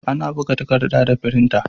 Ana buga takarɗa da firinta.